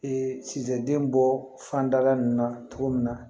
Ee sistɛ den bɔ fanda nunnu na cogo min na